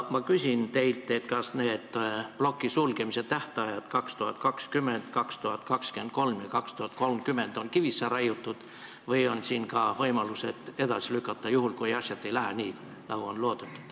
Ma küsin teilt, kas need plokkide sulgemise tähtajad 2020, 2023 ja 2030 on kivisse raiutud või on ka võimalus neid edasi lükata, juhul kui asjad ei lähe nii, nagu on loodetud.